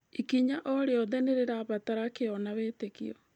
Ikinya o rĩothe nĩ rĩrabatara kĩyo na wĩtĩkio.